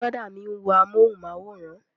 Brọ̀dá mi ń wo amúhùnmáwòrán